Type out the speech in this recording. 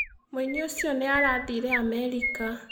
Mũini ũcio nĩ arathire Amerika.